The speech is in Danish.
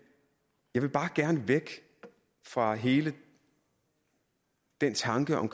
jeg vil bare gerne væk fra hele den tanke om